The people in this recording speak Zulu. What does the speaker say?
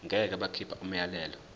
ngeke bakhipha umyalelo